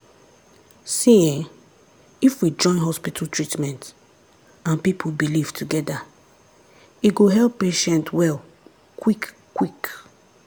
see[um]if we join hospital treatment and people belief together e go help patient well kwik-kwik.